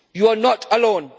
You are not alone.